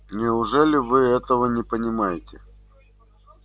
неужели вы этого не понимаете